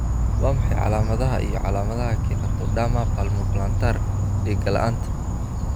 Waa maxay calaamadaha iyo calaamadaha Keratoderma palmoplantar dhega la'aanta?